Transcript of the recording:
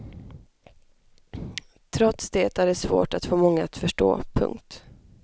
Trots det är det svårt att få många att förstå. punkt